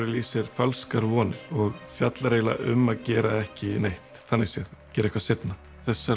í sér falskar vonir og fjallar eiginlega um að gera ekki neitt þannig séð gera eitthvað seinna þessar